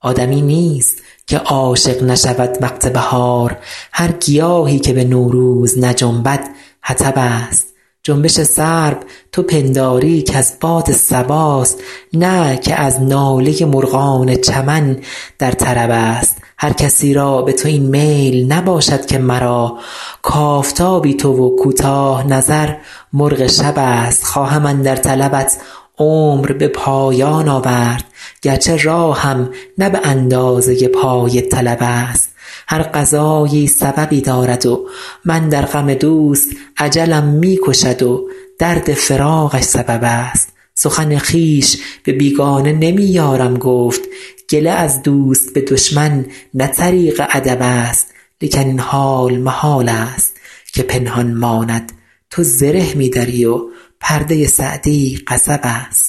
آدمی نیست که عاشق نشود وقت بهار هر گیاهی که به نوروز نجنبد حطب است جنبش سرو تو پنداری که از باد صباست نه که از ناله مرغان چمن در طرب است هر کسی را به تو این میل نباشد که مرا کآفتابی تو و کوتاه نظر مرغ شب است خواهم اندر طلبت عمر به پایان آورد گرچه راهم نه به اندازه پای طلب است هر قضایی سببی دارد و من در غم دوست اجلم می کشد و درد فراقش سبب است سخن خویش به بیگانه نمی یارم گفت گله از دوست به دشمن نه طریق ادب است لیکن این حال محال است که پنهان ماند تو زره می دری و پرده سعدی قصب است